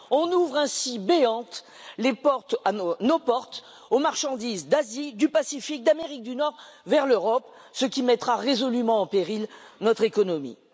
On ouvre ainsi béantes nos portes aux marchandises d'Asie, du Pacifique, d'Amérique du Nord vers l'Europe, ce qui mettra résolument en péril notre économie.